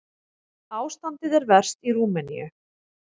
Ástandið er verst í Rúmeníu.